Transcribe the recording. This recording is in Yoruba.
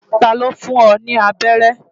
Ta ló fún ọ ní abẹ́rẹ́?